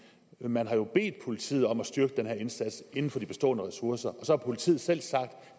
man har jo bedt politiet om at styrke den her indsats inden for de bestående ressourcer og så har politiet selv sagt at